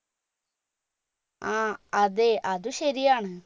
ആ അതെ അത് ശരിയാണ്